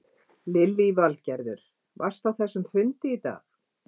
Lillý Valgerður: Varstu á þessum fundi í dag?